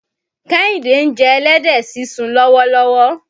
Kẹ́hìndé ń jẹ ẹlẹ́dẹ̀ sísun lọ́wọ́lọ́wọ́.